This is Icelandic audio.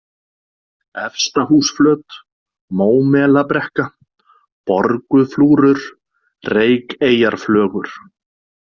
Efstahúsflöt, Mómelabrekka, Borguflúrur, Reykeyjarflögur